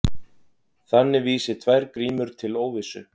Þannig vísi tvær grímur til óvissu.